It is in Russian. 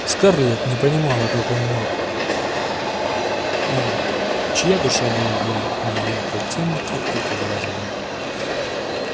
скарлетт не понимала как он мог он чья душа была для неё потёмки околдовать её